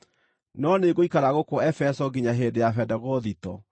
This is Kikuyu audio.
No nĩngũikara gũkũ Efeso nginya hĩndĩ ya Bendegothito,